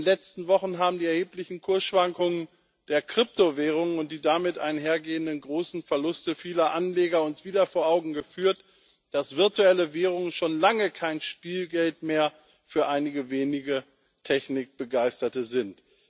In den letzten Wochen haben uns die erheblichen Kursschwankungen der Kryptowährungen und die damit einhergehenden großen Verluste vieler Anleger wieder vor Augen geführt, dass virtuelle Währungen schon lange kein Spielgeld mehr für einige wenige Technikbegeisterte sind.